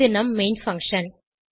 இது நம் main function